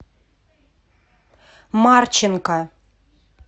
марченко